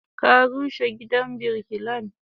Ka rushe gidan birkilan?